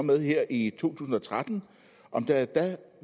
med her i to tusind og tretten